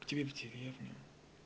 к тебе в деревню